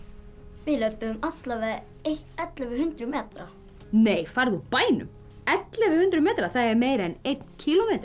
við löbbuðum allavega ellefu hundruð metra nei farðu úr bænum ellefu hundruð metra það er meira en einn